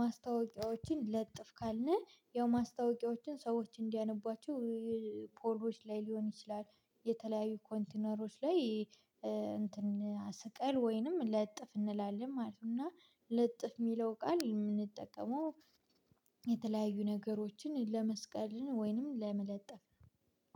ማስታወቂያዎችን ለጥፍ ካልን ያው ማስታወቂያዎችን ሰዎች እንዲያነቧቸው ፎቆች ላይ ሊሆን ይችላል የተለያዩ ኮንቲነሮች ላይ እንትን ስቀል ወይንም ለጥፍ እንላለን ማለት ነው። እና ለጥፍ የሚለው ቃል የምንጠቀመው የተለያዩ ነገሮችን ለመስቀልን ወይንም ለመለጠፍ።